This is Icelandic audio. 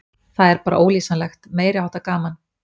Það er bara ólýsanlegt, meiri háttar gaman.